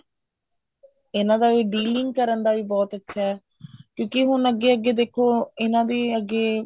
ਇਹਨਾ ਦਾ ਵੀ dealing ਕਰਨ ਦਾ ਵੀ ਬਹੁਤ ਅੱਛਾ ਐ ਕਿਉਂਕਿ ਹੁਣ ਅੱਗੇ ਅੱਗੇ ਦੇਖੋ ਇਹਨਾ ਦੇ ਅੱਗੇ